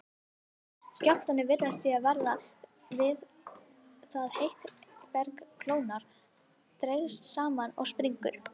Skjálftarnir virðast því verða við það að heitt berg kólnar, dregst saman og springur.